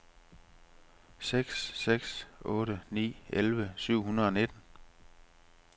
seks seks otte ni elleve syv hundrede og nitten